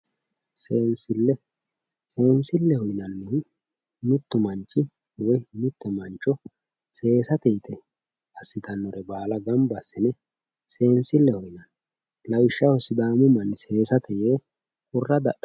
Seensile, seensileho yinannihu mitu manchi woyi mite mancho seesate yte assittanore baalla gamba assine seensileho yinanni, lawishshaho sidaamu manni seesate yee qurra dadhanno.